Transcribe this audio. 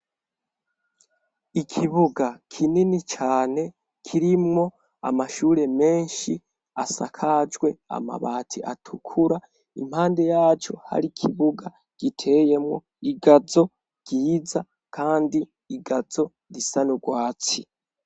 Ikibuga kinini cane, kirimwo amashure menshi asakajwe amabati atukura, impande yaco hari ikibuga giteyemwo igazo ryiza kandi igazo risa n'urwatsi.